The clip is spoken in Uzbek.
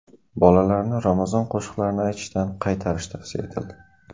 Bolalarni ramazon qo‘shiqlarini aytishdan qaytarish tavsiya etildi.